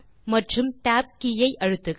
மற்றும் tab கே ஐ அழுத்துக